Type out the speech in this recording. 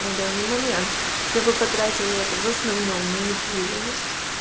на данный момент я бы потратила это в основном на недвижимость